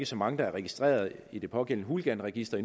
så mange registreret i det pågældende hooliganregister